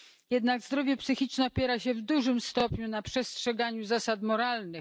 Jednak zdrowie psychiczne opiera się w dużym stopniu na przestrzeganiu zasad moralnych.